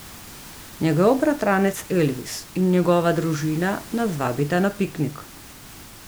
Njegov bratranec Elvis in njegova družina nas vabita na piknik.